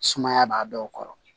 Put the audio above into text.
Sumaya b'a dɔw kɔrɔ